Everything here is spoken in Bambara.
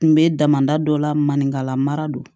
N bɛ damada dɔ la maninkala mara don